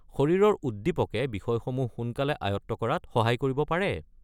শৰীৰৰ উদ্দীপকে বিষয়সমূহ সোনকালে আয়ত্ত কৰাত সহায় কৰিব পাৰে।